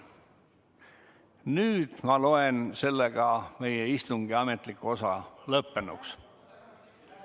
Nüüd ma loen meie istungi ametliku osa lõppenuks.